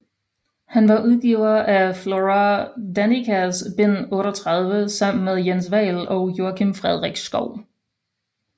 Han var udgiver af Flora Danicas bind 38 sammen med Jens Vahl og Joakim Frederik Schouw